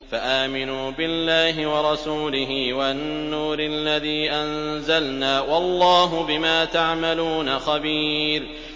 فَآمِنُوا بِاللَّهِ وَرَسُولِهِ وَالنُّورِ الَّذِي أَنزَلْنَا ۚ وَاللَّهُ بِمَا تَعْمَلُونَ خَبِيرٌ